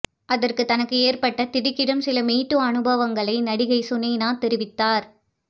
அதற்கு தனக்கு ஏற்பட்ட திடுக்கிடும் சில மீ டூ அனுபவங்களை நடிகை சுனைனா தெரிவித்தார்